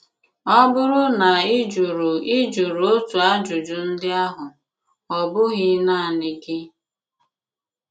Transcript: Ọ̀ bùrù na ị jụrụ ị jụrụ otu àjùjù ndị àhụ, ọ̀ bụ̀ghị̀ nanị gị.